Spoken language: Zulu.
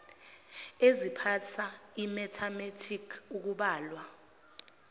eziphasa imethamethiki ukubala